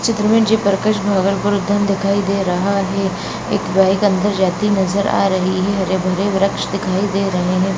Chatrabhuvan ji purpose भवन दिखाई दे रहा है | एक बाइक अंदर जाती नजर आ रही है हरे भरे वृक्ष दिखाई दे रहे हैं |